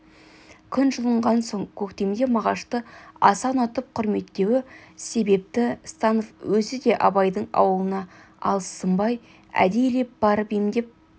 күн жылынған соң көктемде мағашты аса ұнатып құрметтеуі себепті станов өзі де абайдың аулына алыссынбай әдейілеп барып емдеп